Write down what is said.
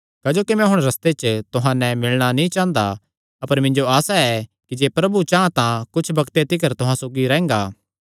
क्जोकि मैं हुण रस्ते च तुहां नैं मिलणा नीं चांह़दा अपर मिन्जो आसा ऐ कि जे प्रभु चां तां कुच्छ बग्ते तिकर तुहां सौगी रैंह्गा